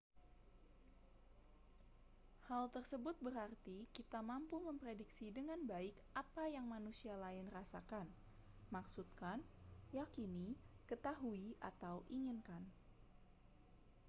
hal tersebut berarti kita mampu memprediksi dengan baik apa yang manusia lain rasakan maksudkan yakini ketahui atau inginkan